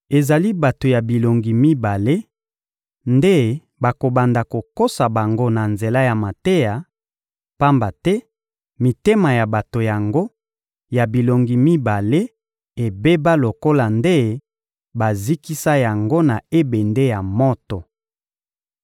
Ezali bato ya bilongi mibale nde bakobanda kokosa bango na nzela ya mateya, pamba te mitema ya bato yango ya bilongi mibale ebeba lokola nde bazikisa yango na ebende ya moto.